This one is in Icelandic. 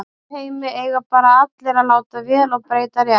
Í hennar heimi eiga bara allir að láta vel og breyta rétt.